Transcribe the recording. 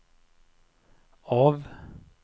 av